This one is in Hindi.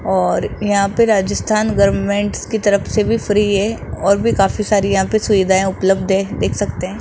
और यहां पे राजस्थान गवर्नमेंट्स की तरफ से भी फ्री है और भी काफी सारी यहां पे सुविधाएं उपलब्ध है देख सकते हैं।